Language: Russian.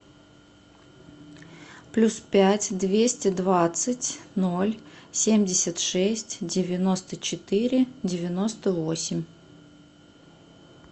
плюс пять двести двадцать ноль семьдесят шесть девяносто четыре девяносто восемь